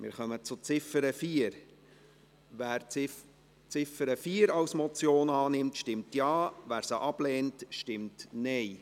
Wer die Ziffer 4 annimmt, stimmt Ja, wer diese ablehnt, stimmt Nein.